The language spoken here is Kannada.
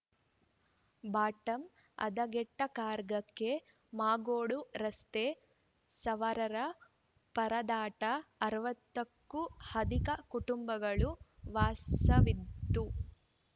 ಬಾಟಂ ಹದಗೆಟ್ಟ ಕಾರ್‌ರ್ಗಕ್ಕೆ ಮಾಗೋಡು ರಸ್ತೆ ಸವಾರರ ಪರದಾಟ ಅರವತ್ತ ಕ್ಕೂ ಅಧಿಕ ಕುಟುಂಬಗಳು ವಾಸವಿದ್ದು